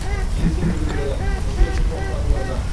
жексенбі күндері қызметі тоқтатылады